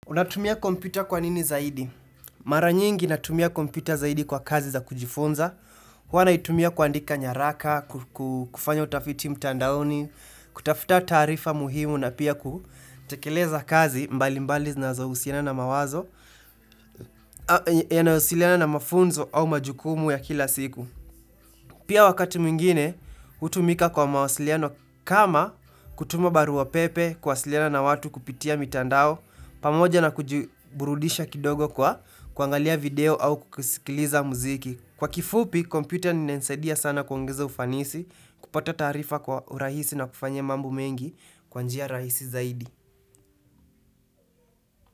Unatumia kompyuta kwa nini zaidi? Mara nyingi natumia kompyuta zaidi kwa kazi za kujifunza. Huwa naitumia kuandika nyaraka, kufanya utafiti mtandaoni, kutafuta taarifa muhimu na pia kutekeleza kazi mbali mbali zinazohusiana na mawazo, yanayowasiliana na mafunzo au majukumu ya kila siku. Pia wakati mwingine, hutumika kwa mawasiliano kama kutuma barua pepe, kuwasiliana na watu kupitia mitandao pamoja na kujiburudisha kidogo kwa kuangalia video au kusikiliza muziki kwa kifupi, kompyuta inanisaidia sana kuongeza ufanisi kupata taarifa kwa urahisi na kufanya mambo mengi kwa njia rahisi zaidi.